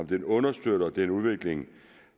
den understøtter den udvikling